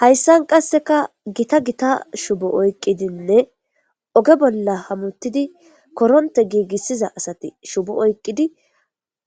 hayssan qasseka gita gita shubo oyqqidinne oge bolla hamuttidi koronte giigissiza asati shubo oyqqidi